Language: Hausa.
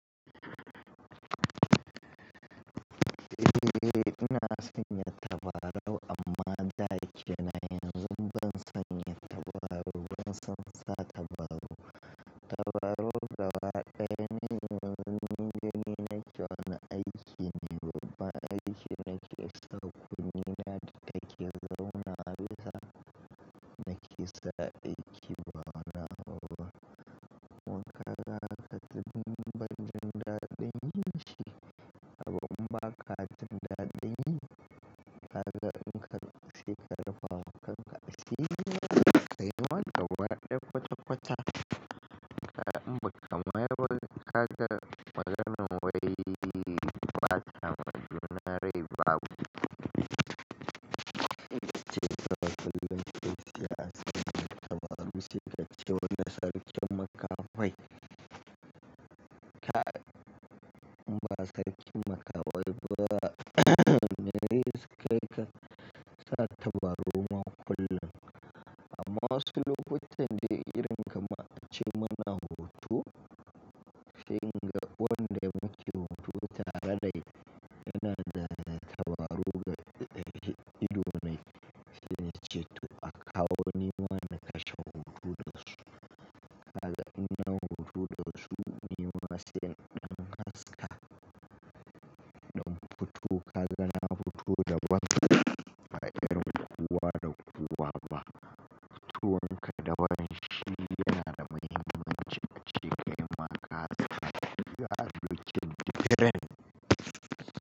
Eh, ina sanya tabarau amma da kenan yanzu ban sanya tabarau ba, ban san sa tabarau. Tabarau gaba daya ne wanda ni nake wane aikin ne, amma aikin nake sau kunne na yake zauna a bisa nake sa aiki ba na. Wannan katun ban jin daɗin shi, amma katin daɗin kaga in ka kase ka dafa kanka a sirri ka yi mata gwarɗe kwata kwata. Kaza in ba ka mayar ka ga maganan wai ba kamar juna rai babu. Ce zai faru don ce siyasa tabarau shi da ce wanda sarkin maka kai. Ka in ba sarkin maka walba yayi suka yi ka sa tabarau man kullum. Amma wasu lokutan da irin kamar ce muna hutu, sai ga wanda muke hutu tare dai yana da tabarau ga ido na ya cire tu a kawo ni wanda kashi hutu doshi. Kaza in na hutu doshi ni ma sai na haska. Da hutu kaza na hutu da wata a gidan zuwa da zuwa ba. Hutu wanka da wanshi yana da manyan ciƙaƙiƙe maka a gadi da cin daren.